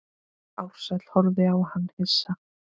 Ársæll horfði á hann hissa.